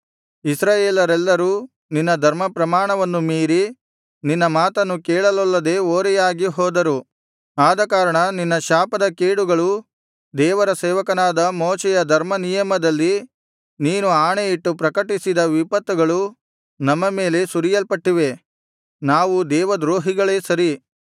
ಇಸ್ರಾಯೇಲರೆಲ್ಲರೂ ನಿನ್ನ ಧರ್ಮಪ್ರಮಾಣವನ್ನು ಮೀರಿ ನಿನ್ನ ಮಾತನ್ನು ಕೇಳಲೊಲ್ಲದೆ ಓರೆಯಾಗಿ ಹೋದರು ಆದಕಾರಣ ನಿನ್ನ ಶಾಪದ ಕೇಡುಗಳೂ ದೇವಸೇವಕನಾದ ಮೋಶೆಯ ಧರ್ಮನಿಯಮದಲ್ಲಿ ನೀನು ಆಣೆಯಿಟ್ಟು ಪ್ರಕಟಿಸಿದ ವಿಪತ್ತುಗಳೂ ನಮ್ಮ ಮೇಲೆ ಸುರಿಯಲ್ಪಟ್ಟಿವೆ ನಾವು ದೇವ ದ್ರೋಹಿಗಳೇ ಸರಿ